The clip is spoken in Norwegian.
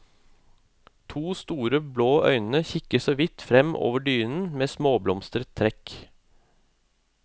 To store, blå øyne kikker så vidt frem over dynen med småblomstret trekk.